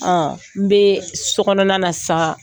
N bɛ sokɔnɔ na sa